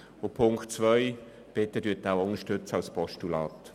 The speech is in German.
Bitte unterstützen Sie den Punkt 2 als Postulat.